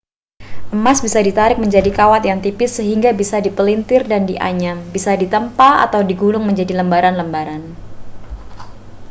emas bisa ditarik menjadi kawat yang tipis sehingga bisa dipelintir dan dianyam bisa ditempa atau digulung menjadi lembaran-lembaran